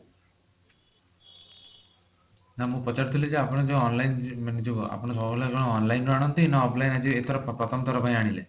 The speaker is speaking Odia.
ନା ମୁଁ ପଚାରୁଥିଲି ଯେ ଆପଣ ଯୋଊ online ମାନେ ଯୋଊ ଆପଣ ସବୁ ଜିନିଷ online ରୁ ଆଣନ୍ତି ନା offline ଆଜି ଏଥର ପ୍ରଥମ ଥର ଆଣିଲେ